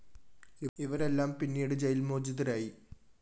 ഇവരെല്ലാം പിന്നീട് ജയില്‍ മോചിതരായി